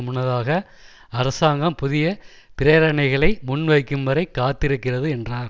முன்னதாக அரசாங்கம் புதிய பிரேரணைகளை முன்வைக்கும் வரை காத்திருக்கிறது என்றார்